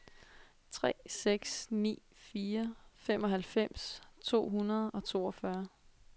tre seks ni fire femoghalvfems to hundrede og toogfyrre